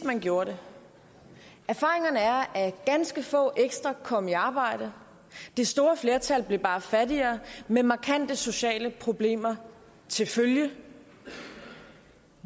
man gjorde det erfaringerne er at ganske få ekstra kom i arbejde det store flertal blev bare fattigere med markante sociale problemer til følge